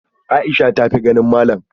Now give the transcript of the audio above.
Aisha ta tafi ganin malam?